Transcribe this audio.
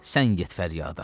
Sən get fəryada.